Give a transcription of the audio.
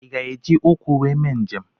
I ga-eji ụkwụ wee mee njem?